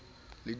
le dineo na o ne